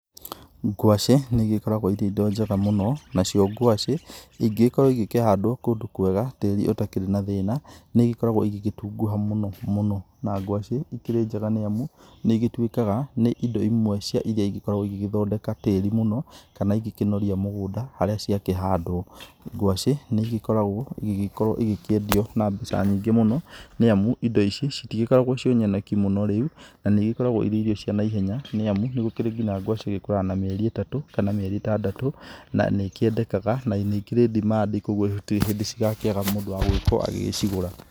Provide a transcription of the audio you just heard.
Ngwacĩ nĩigĩkoragwo irĩ indo njega mũno, nacio ngwacĩ ingĩkorwo igĩkĩhandwo kũndũ kwega tĩri ũtakĩrĩ na thĩna, nĩigĩkoragwo igĩgĩtunguha mũno mũno, na ngwacĩ ikĩrĩ njega nĩamu nĩigĩtuĩkaga nĩ indo imwe cia iria igĩkoragwo igĩgĩthondeka tĩri mũno, kana igĩkĩnoria mũgũnda harĩa cĩakĩhandwo, ngwacĩ nĩigĩkoragwo ĩgĩgĩkorwo ĩgĩkĩendio na mbeca nyingĩ mũno, nĩamu indo ici citikoragwo ciĩ nyoneki mũno rĩu na nĩigĩkoragwo irĩ irio cia naihenya, nĩamu nĩgũkĩrĩ nginya ngwacĩ igĩkũraga na mĩeri ĩtatũ kana mĩeri ĩtandatũ, na nĩkĩendekaga na nĩikĩrĩ demand i, koguo gũtirĩ hĩndĩ cigakĩaga mũndũ wa gũkorwo agĩcigũra.